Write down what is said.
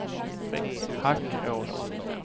Hackås